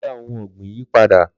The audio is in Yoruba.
Lọ dá ohun ọ̀gbìn yii padà.